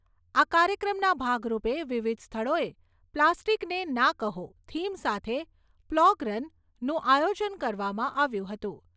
આ કાર્યક્રમના ભાગરૂપે, વિવિધ સ્થળોએ 'પ્લાસ્ટિકને ના કહો' થીમ સાથે 'પ્લોગ રન'નું આયોજન કરવામાં આવ્યું હતું.